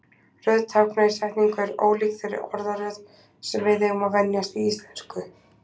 Röð tákna í setningu er ólík þeirri orðaröð sem við eigum að venjast í íslensku.